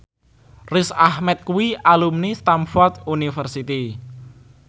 Riz Ahmed kuwi alumni Stamford University